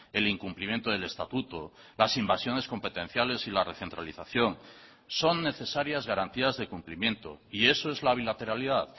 el incumplimiento del estatuto las invasiones competenciales y la recentralización son necesarias garantías de cumplimiento y eso es la bilateralidad